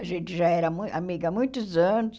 A gente já era mui amiga há muitos anos.